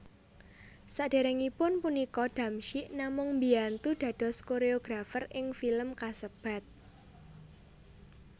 Saderengipun punika Damsyik namung mbiyantu dados koreografer ing film kasebat